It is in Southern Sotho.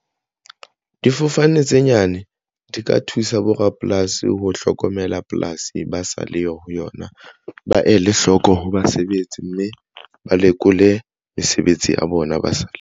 Difofane tse nyane di ka thusa bo rapolasi ho hlokomela polasi ba sa le yo ho yona ba ele hloko ho basebetsi mme ba lekole mesebetsi ya bona ba sa.